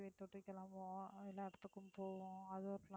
இப்ப போய் கிளம்புவோம் அஹ் எல்லா இடத்துக்கும் போவோம் அது